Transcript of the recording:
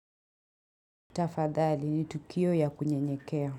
Tafadhali ni tukio ya kunyenyekea.